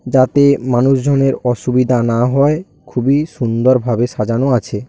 যাতে মানুষজনের অসুবিধা না হয় খুবই সুন্দরভাবে সাজানো আছে।